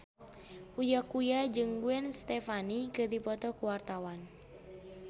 Uya Kuya jeung Gwen Stefani keur dipoto ku wartawan